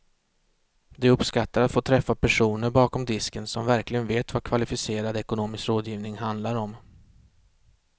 De uppskattar att få träffa personer bakom disken som verkligen vet vad kvalificerad ekonomisk rådgivning handlar om.